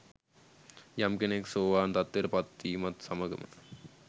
යම් කෙනෙක් සෝවාන් තත්ත්වයට පත්වීමත් සමඟම